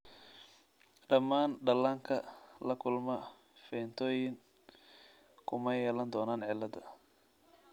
Dhammaan dhallaanka la kulma phenytoin kuma yeelan doonaan cilladda.